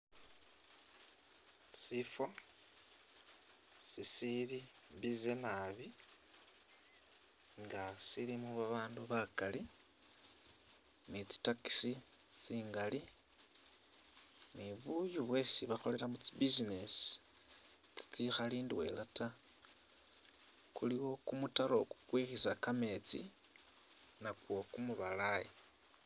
Sifo sisili busy nabi nga silimo ba bandu bakali ni tsi taxi tsingali, ni buyu bwesi bakholelamo tsi business tsitsikhali ndwela ta, kuliwo kumutaro kukwikhisa kametsi nakwo kumubalayi.